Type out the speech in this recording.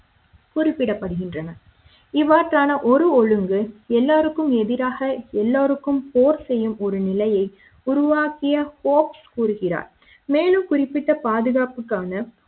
குறிப்பிடப்படுகின்றன இவற்றான ஒரு ஒழுங்கு எல்லோருக்கும் எதிராக எல்லோருக்கும் போர் செய்யும் ஒரு நிலையை உருவாக்கிய போக்ஸ் கூறுகிறார் மேலும் குறிப்பிட்ட பாதுகாப்பு காண